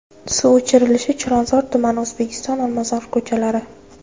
Suv o‘chirilishi Chilonzor tumani: O‘zbekiston, Olmazor ko‘chalari.